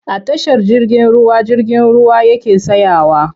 A tashar jirgin ruwa jirgin ruwa yake tsayawa.